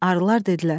Arılar dedilər: